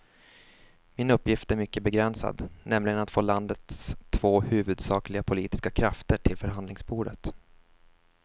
Min uppgift är mycket begränsad, nämligen att få landets två huvudsakliga politiska krafter till förhandlingsbordet.